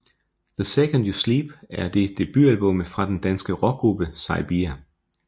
The Second You Sleep er det debutalbummet fra den danske rockgruppe Saybia